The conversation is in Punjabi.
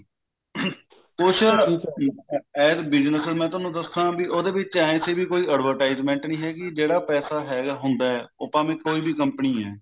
ਕੁੱਛ as business ਮੈਂ ਤੁਹਾਨੂੰ ਦੱਸਾ ਵੀ ਉਹਦੇ ਵਿੱਚ ਐਂ ਸੀ ਵੀ ਕੋਈ advertisement ਨਹੀਂ ਹੈਗੀ ਜਿਹੜਾ ਪੈਸਾ ਹੈਗਾ ਹੁੰਦਾ ਉਹ ਭਾਵੇਂ ਕੋਈ ਵੀ company ਐ